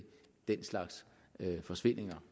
den slags forsvindinger